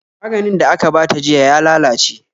Maganin da aka bata jiya ya lalace